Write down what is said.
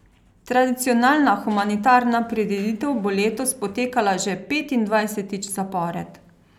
Tradicionalna humanitarna prireditev bo letos potekala že petindvajsetič zapored.